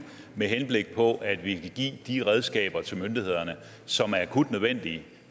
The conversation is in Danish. med henblik på at give de redskaber til myndighederne som er akut nødvendige